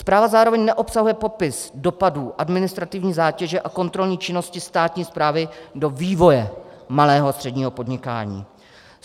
Zpráva zároveň neobsahuje popis dopadů administrativní zátěže a kontrolní činnosti státní správy do vývoje malého a středního podnikání.